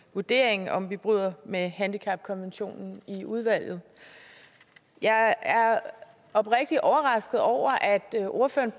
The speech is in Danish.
vurdering af om vi bryder med handicapkonventionen i udvalget jeg er oprigtigt overrasket over at ordføreren